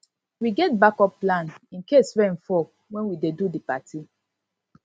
we get backup plan incase rain fall wen we dey do di party party